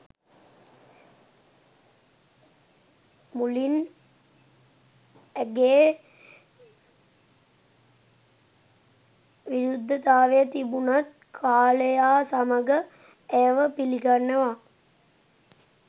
මුලින් ඇගේ විරුද්ධතාවය තිබුනත් කාලයා සමඟ ඇය ව පිළිගන්නවා.